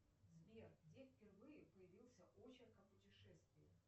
сбер где впервые появился очерк о путешествиях